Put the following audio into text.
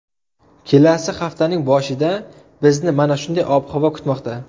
Kelasi haftaning boshida bizni mana shunday ob-havo kutmoqda.